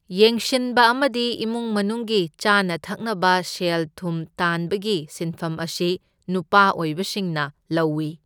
ꯌꯦꯡꯁꯤꯟꯕ ꯑꯃꯗꯤ ꯏꯃꯨꯡ ꯃꯅꯨꯡꯒꯤ ꯆꯥꯅ ꯊꯛꯅꯕ ꯁꯦꯜ ꯊꯨꯝ ꯇꯥꯟꯕꯒꯤ ꯁꯤꯟꯐꯝ ꯑꯁꯤ ꯅꯨꯄꯥ ꯑꯣꯏꯕꯁꯤꯡꯅ ꯂꯧꯢ꯫